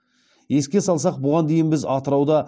еске салсақ бұған дейін біз атырауда